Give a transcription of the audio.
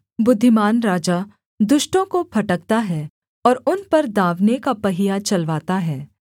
बुद्धिमान राजा दुष्टों को फटकता है और उन पर दाँवने का पहिया चलवाता है